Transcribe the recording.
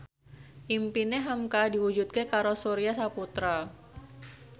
impine hamka diwujudke karo Surya Saputra